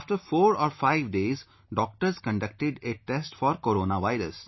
After 4 or 5 days, doctors conducted a test for Corona virus